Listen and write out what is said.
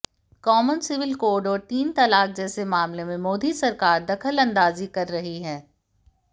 कामन civil code और तीन तलाक जैसे मामले में मोदी सरकार दखलंदाजी कर रही है